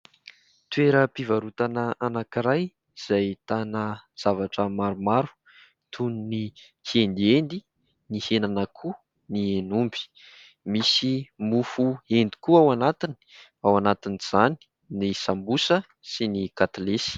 Toeram-pivarotana anankiray izay ahitana zavatra maromaro toy ny kiendiendy, ny henan'akoho, ny henomby. Misy mofo hendy koa ao anatiny, ao anatin'izany ny sambosa sy ny katilesy.